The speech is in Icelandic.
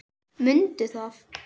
Mundu það.